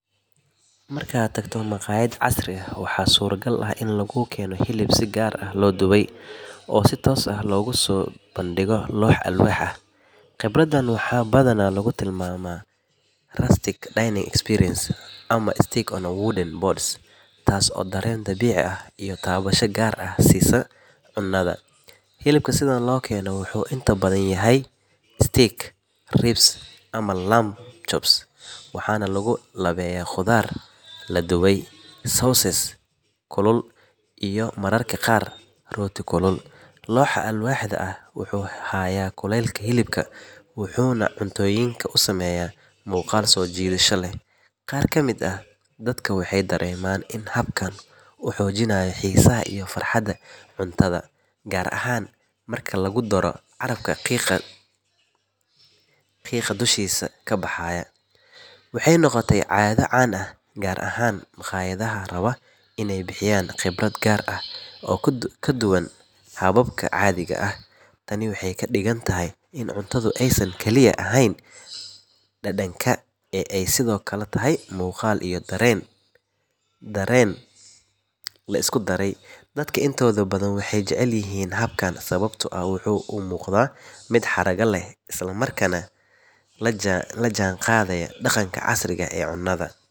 Markaad tagto maqayad casri ah waxaa suuro gal ah in lagu keeno hilib si qaas ah loo dube oo lagu soo bandige alwaax, hilibka la keeno badanaa wuxuu yahay ribs waxaana lagu labeeya qudaar ladube iyo mararka qaar rooti, looxa wuxuu haaya kuleelka, qaabkan wuxuu xojinaaya farxada cuntada, waxaay noqote caada caadi ah gaar ahaan maqayada, tani waxeey kadigan tahay inaay cuntada tahay dareen iyo muqaal, dadka inta badan waxeey jecel yihiin qaabkan madaama uu la jaan qadayo casriga.